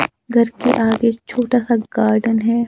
घर के आगे छोटा सा गार्डन है।